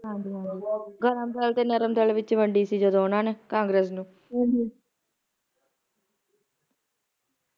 ਹਾਂਜੀ ਹਾਂਜੀ ਗਰਮ ਦਲ ਤੇ ਨਰਮ ਦਲ ਵਿਚ ਵੰਡੀ ਸੀ ਜਦੋ ਓਹਨਾ ਨੇ congress ਨੂੰ